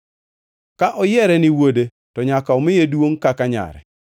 Ka oyiere ni wuode, to nyaka omiye duongʼ kaka nyare.